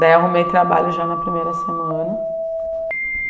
Daí eu arrumei trabalho já na primeira semana.